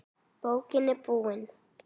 Bókin er búin.